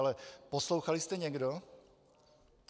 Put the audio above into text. Ale - poslouchali jste někdo?